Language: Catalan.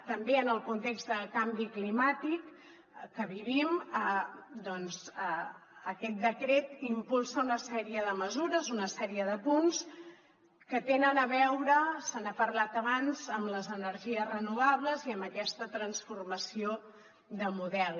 també en el context de canvi climàtic que vivim doncs aquest decret impulsa una sèrie de mesures una sèrie de punts que tenen a veure se n’ha parlat abans amb les energies renovables i amb aquesta transformació de model